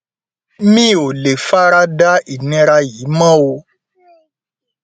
mi ò lè fara da ìnira yìí mọ o